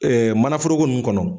manaforoko nunnu kɔnɔ